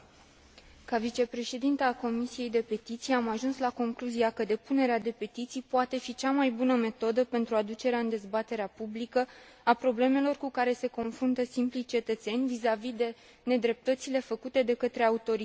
Ca vicepreședintă a Comisiei pentru petiții, am ajuns la concluzia că depunerea de petiții poate fi cea mai bună metodă pentru aducerea în dezbaterea publică a problemelor cu care se confruntă simplii cetățeni vizavi de nedreptățile făcute de către autorități.